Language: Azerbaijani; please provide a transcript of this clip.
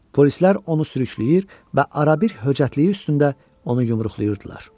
Polislər onu sürükləyir və ara-bir höcətliyi üstündə onu yumruqlayırdılar.